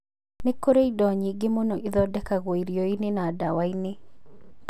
Na nĩ kũrĩ indo nyingĩ mũno ithondekagwo irio-inĩ na ndawa-inĩ.